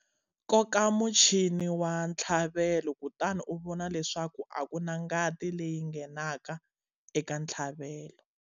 Koka muchini wa ntlhavelo kutani u vona leswaku a ku na ngati leyi nghenaka eka ntlhavelo.